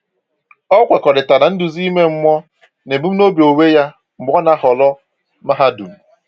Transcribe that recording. O kwekọrịta nduzi ime mmụọ na ebumnobi onwe ya mgbe o na-ahọrọ mahadum.